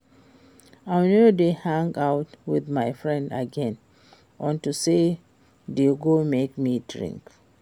I no dey hang out with my friends again unto say dey go make me drink